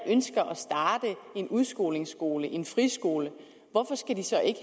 ønsker at starte en udskolingsskole en friskole hvorfor skal de så ikke